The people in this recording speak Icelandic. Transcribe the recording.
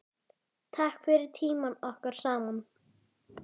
Takk fyrir tímann okkar saman.